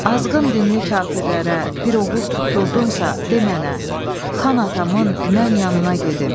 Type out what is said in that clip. Azğın dinli kafirlərə bir oğul tutdurdunsa de mənə, xan atamın mən yanına gedim.